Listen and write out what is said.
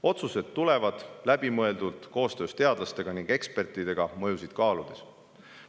Otsused tulevad läbimõeldult ning koostöös teadlaste ja ekspertidega mõjusid kaaludes.